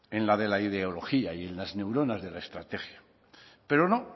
en la de la ideología y en las neuronas de la estrategia pero no